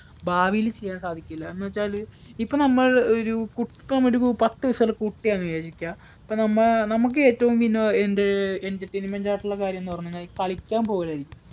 ഭാവിയിൽ ചെയ്യാൻ സാധിക്കില്ല എന്നുവച്ചാല് ഇപ്പൊ നമ്മൾ ഒരു പത്ത് വയസ്സുള്ള കുട്ടിയാണെന്ന് വിചാരിക്കുക. ഇപ്പം നമുക്ക് ഏറ്റവും വിനോദ അഹ് എന്ത് entertainment ആയിട്ടുള്ള കാര്യമെന്ന് പറഞ്ഞാൽ ഈ കളിക്കാൻ പോകലാ